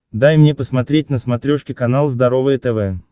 дай мне посмотреть на смотрешке канал здоровое тв